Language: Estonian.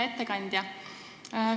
Hea ettekandja!